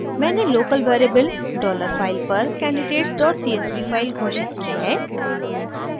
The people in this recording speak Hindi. मैंने लोकल वेरिएबल dollar file पर candidatescsv फाइल घोषित की है